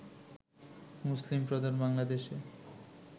মুসলিম প্রধান বাংলাদেশে